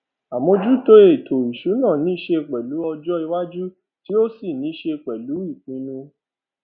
àmójútó ètò ìsúná ní ṣe pèlú ọjọ iwájú tí ó sì ní ṣe pèlú ìpinnu